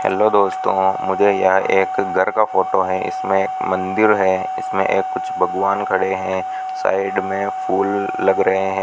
Hello दोस्तों मुझे यहां एक घर का फोटो है इसमें एक मंदिर है इसमें ये कुछ भगवान खड़े हैं साइड में फूल लग रहे हैं।